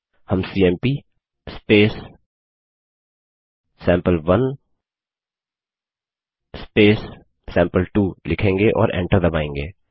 हम सीएमपी सैंपल1 सैंपल2 लिखेंगे और एंटर दबायेंगे